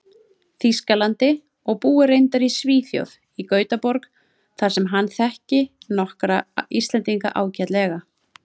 Þýskalandi, og búi reyndar í Svíþjóð, í Gautaborg, þar sem hann þekki nokkra Íslendinga ágætlega.